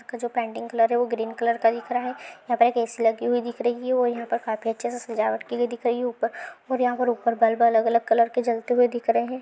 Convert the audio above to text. यहाँ जो painting colour जो है वो ग्रीन कलर का दिख रहा है यहाँ पर एक ऐ_सी लगी हुई दिख रही है और यहाँ पे खाफी अच्छे से सजावट की गयी हुई दिख रही है और उपर यहाँ पर बल्ब अलग अलग कलर के जलते हुये दिख रहे है।